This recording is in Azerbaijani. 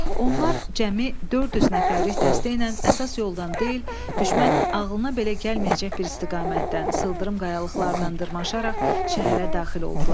Onlar cəmi 400 nəfərlik dəstə ilə əsas yoldan deyil, düşmənin ağlına belə gəlməyəcək bir istiqamətdən sıldırım qayalıqlardan dırmaşaraq şəhərə daxil oldular.